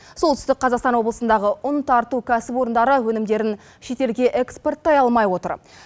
солтүстік қазақстан облысындағы ұн тарту кәсіпорындары өнімдерін шетелге экспорттай алмай отыр